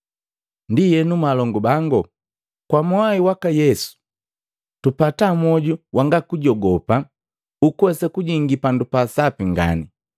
Ndienu mwalongu bangu kwa mwai waka Yesu tupata mwoju wanga kujogopa ukuwesa kujingi Pandu pa Sapi ngani.